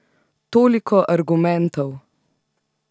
Toliko argumentov!